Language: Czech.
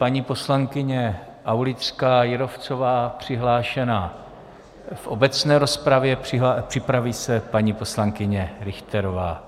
Paní poslankyně Aulická Jírovcová přihlášena v obecné rozpravě, připraví se paní poslankyně Richterová.